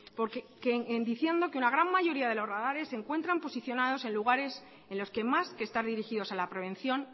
diciendo que una gran mayoría de los radares se encuentran posicionados en lugares en los que más que estar dirigidos a la prevención